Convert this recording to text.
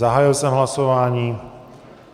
Zahájil jsem hlasování.